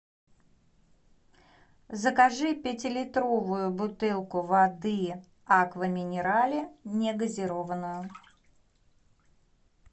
закажи пятилитровую бутылку воды аква минерале негазированную